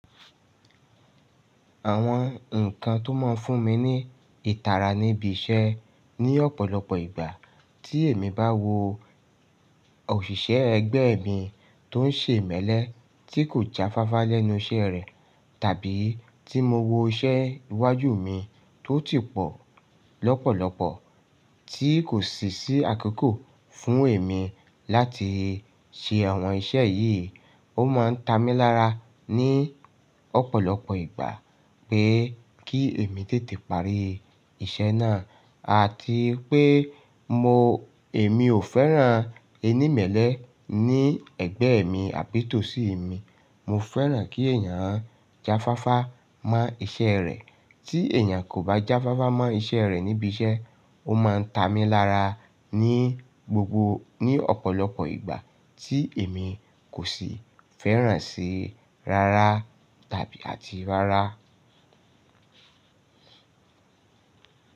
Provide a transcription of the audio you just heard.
Àwọn nǹkan tó máa ń fún mi ní ìtara níbi iṣẹ́ ní ọ̀pọ̀lọpọ̀ ìgbà tí èmi bá wo òṣìṣẹ́ ẹgbẹ́ mi tó ń ṣe ìmẹ́lẹ́ tí kò jáfáfá lẹ́nu iṣẹ́ rẹ̀, tàbí tí mo wo iṣẹ́ iwájú mi tó ti pọ̀ lọ́pọ̀lọpọ̀ tí kò ṣíṣí àkókò fún èmi láti ṣe àwọn iṣẹ́ yìí. Ó máa ń ta mi lára ní ọ̀pọ̀lọpọ̀ ìgbà pé kí èmi tètè parí iṣẹ́ náà àti pé mo èmi ò fẹ́ràn ẹni ìmẹ́lẹ́ ní ẹgbẹ́ mi àbí tòsí mi. Mo fẹ́ràn kí èyàn jáfáfá mọ́ iṣẹ́ rẹ̀. Tí èyàn kò bá jáfáfá mọ́ iṣẹ́ rẹ̀ níbi iṣẹ́, ó máa ń ta mi lára ní gbogbo ní ọ̀pọ̀lọpọ̀ ìgbà tí èmi kò sì fẹ́ràn sí í rárá tàbí àti rárá.